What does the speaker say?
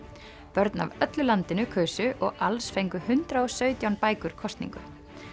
börn af öllu landinu kusu og alls fengu hundrað og sautján bækur kosningu